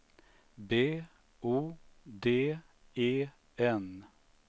B O D E N